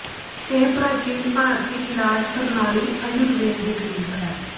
ਇਹ ਪ੍ਰਾਚੀਨ ਭਾਰਤੀ ਇਲਾਜ ਪ੍ਰਨਾਲੀ ਆਯੁਰਵੇਦ ਦੇ ਕਰੀਬ ਹੈ